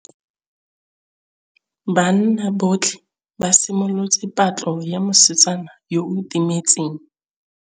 Banna botlhê ba simolotse patlô ya mosetsana yo o timetseng.